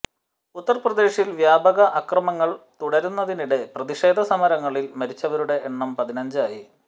ഉത്തർപ്രദേശിൽ വ്യാപക അക്രമങ്ങൾ തുടരുന്നതിനിടെ പ്രതിഷേധ സമരങ്ങളിൽ മരിച്ചവരുടെ എണ്ണം പതിനഞ്ചായി